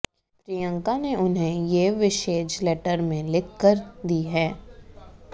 प्रियंका ने उन्हें ये विशेज लेटर में लिखकर दी हैं